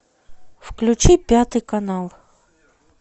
включи пятый канал